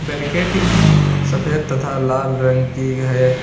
Barricading सफेद तथा लाल रंग की है।